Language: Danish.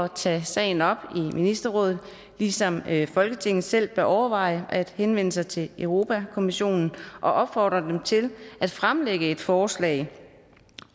tage sagen op i ministerrådet ligesom folketinget selv bør overveje at henvende sig til europa kommissionen og opfordre den til at fremsætte et forslag